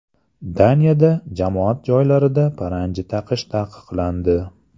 Daniyada jamoat joylarida paranji taqish taqiqlandi.